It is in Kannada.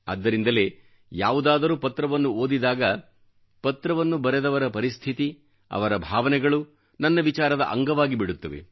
ಆದ್ದರಿಂದಲೇ ಯಾವುದಾದರೂ ಪತ್ರವನ್ನು ಓದಿದಾಗ ಪತ್ರವನ್ನು ಬರೆದವರ ಪರಿಸ್ಥಿತಿ ಅವರ ಭಾವನೆಗಳು ನನ್ನ ವಿಚಾರದ ಅಂಗವಾಗಿಬಿಡುತ್ತವೆ